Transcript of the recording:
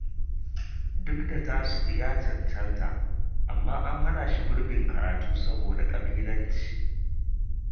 Duk da Tasi’u ya cancanta, amma an hana shi gurbin karatu saboda ƙabilanci